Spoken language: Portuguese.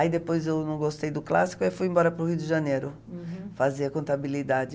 Aí depois eu não gostei do clássico e fui embora para o Rio de Janeiro, uhum, fazer contabilidade.